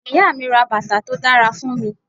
Ìyá mi ra bàtà tó dára fún mi.